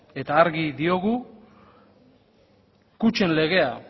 eta argi diogu kutxen legea